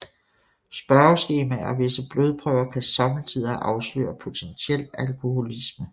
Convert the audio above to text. Spørgeskemaer og visse blodprøver kan somme tider afsløre potentiel alkoholisme